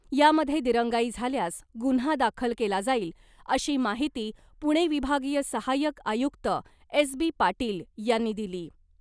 यामध्ये दिरंगाई झाल्यास गुन्हा दाखल केला जाईल , अशी माहिती पुणे विभागीय सहायक आयुक्त एस बी पाटील यांनी दिली .